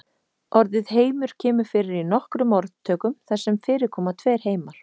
Orðið heimur kemur fyrir í nokkrum orðtökum þar sem fyrir koma tveir heimar.